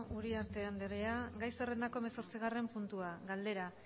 uriarte andrea gai zerrendako hemezortzigarren puntua galdera